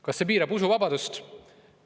Kas see piirab usuvabadust?